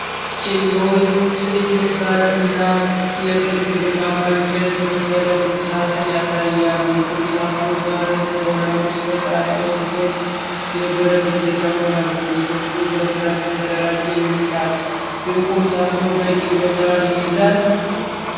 ጭ የውስጥ በር እና የትልቅ ቡናማ እንጨት የመሰለ ቁም ሣጥን ያሳያል። የቁም ሣጥኑ በር ከወለሉ እስከ ጣሪያ ሲሆን፣ የብረት እጀታዎች አሉት። ክፍሉ በሥርዓት የተደራጀ ይመስላል። የቁም ሣጥኑ በቂ ቦታ ይይዛል?